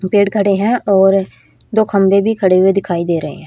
दो पेड़ खेड़े है और दो खंभे भी खड़े हुए दिखाई दे रहे है।